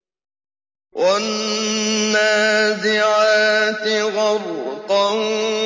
وَالنَّازِعَاتِ غَرْقًا